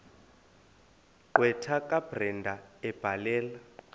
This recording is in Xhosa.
gqwetha kabrenda ebhalela